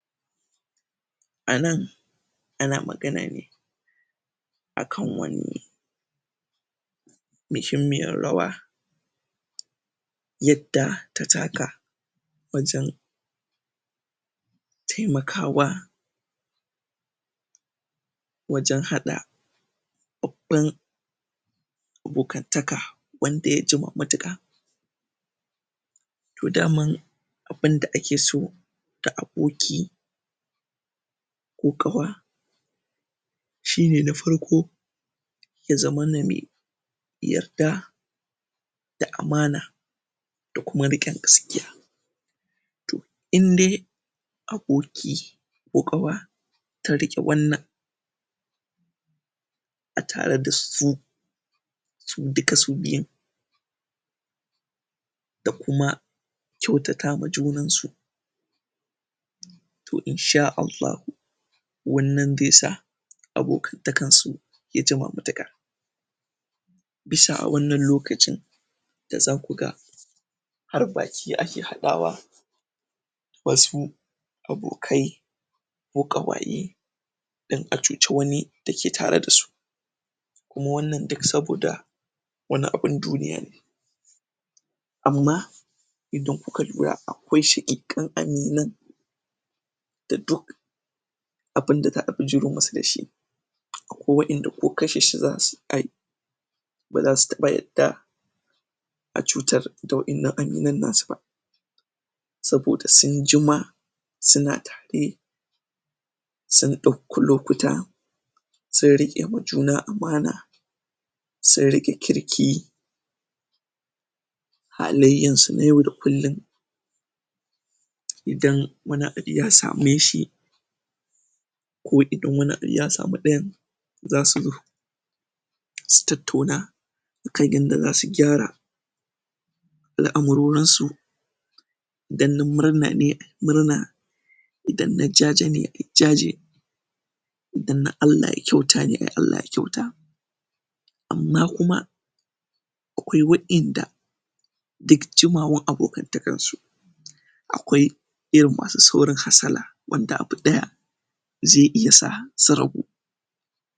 anan ana magana ne akan wani mishimyyar rawa yadda ta taka wajen taimakawa wajen hada babban abokantaka wanda ya jima matuƙa to daman abunda ake so da aboki ko ƙawa shine na farko ya zama mana mai yadda da amana da kuma riqe gaskiya indai aboki ko ƙawa tariƙe wannan a tare da su to duka su biyun da kuma kyautata ma junan su to insha allahu wannan zai sa abokan takarsu ya jima matuƙa bisa awannan lokacin da zaku ga har baki ake hadawa wasu abokai ko kawaye don a cuce wani da ke tare da su kuma wannan duk sabo da wani abun duniyar ne amma idan kuka lura akwai shaqiƙan abokan da duk abinda za'a bijiro masu dashi akwai wa'inda ko kashe su za'ayi bazasu taba yadda acutar da wadanan aminan nasu ba saboda sunjima suna tare sun dauki lokuta sun riqewa juna amana sun riqe kirki halayyansu na yau da kullum idan wani abu yasameshi ko idan wani abu yasami dayan zasu su tattauna akan yadda zasu gyara al'amarin su idan na murnan ne ayi murna idan na jaje ne ayi jaje idan na allah ya kyauta ne allah ya kyauta amma kuma akwai wa'inda duk jimawan abokan takarsu akwai irin masu saurin hasala wanda abu daya zai iya sa su rabu